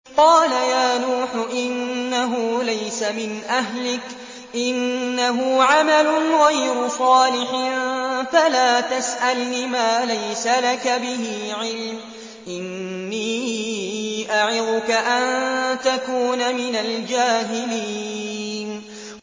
قَالَ يَا نُوحُ إِنَّهُ لَيْسَ مِنْ أَهْلِكَ ۖ إِنَّهُ عَمَلٌ غَيْرُ صَالِحٍ ۖ فَلَا تَسْأَلْنِ مَا لَيْسَ لَكَ بِهِ عِلْمٌ ۖ إِنِّي أَعِظُكَ أَن تَكُونَ مِنَ الْجَاهِلِينَ